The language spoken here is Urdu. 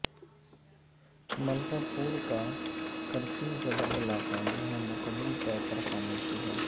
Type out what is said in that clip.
ملکاپورکا کرفیو زدہ علاقہ جہاں مکمل طور پر خاموشی ہے